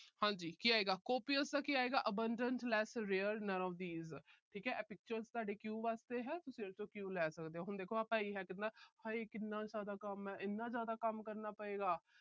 ਹਾਂਜੀ। ਕੀ ਆਏਗਾ। copious ਦਾ ਕੀ ਆਏਗਾ। abandon less rare none of these ਠੀਕ ਹੈ। ਇਹ pictures ਤੁਹਾਡੇ cue ਵਾਸਤੇ ਹੈ। ਤੁਸੀਂ ਇਸ ਚੋਂ cue ਲੈ ਸਕਦੇ ਹੋ। ਹੁਣ ਦੇਖੋ ਭਈਆ ਕਹਿੰਦਾ ਹਾਏ ਕਿੰਨਾ ਜਿਆਦਾ ਕੰਮ ਹੈ। ਇੰਨਾ ਜਿਆਦਾ ਕੰਮ ਕਰਨਾ ਪਏਗਾ।